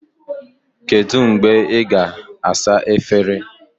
Kedu mgbe ị ga-asa efere?